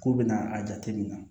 Ko bɛna a jateminɛ